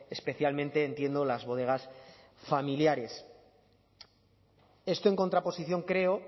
especialmente entiendo las bodegas familiares esto en contraposición creo